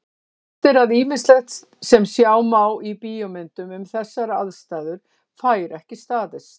Víst er að ýmislegt sem sjá má í bíómyndum um þessar aðstæður fær ekki staðist.